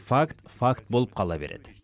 факт факт болып қала береді